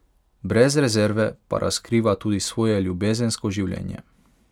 Brez rezerve pa razkriva tudi svoje ljubezensko življenje.